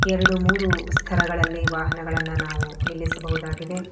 ಎರಡು ಮೂರು ಸ್ಥರಗಳಲ್ಲಿ ವಾಹನಗಳನ್ನ ನಾವು ನಿಲ್ಲಿಸಬಹುದಾಗಿದೆ.